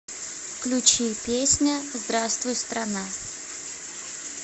включи песня здравствуй страна